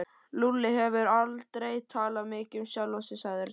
Lúlli hefur aldrei talað mikið um sjálfan sig sagði Örn.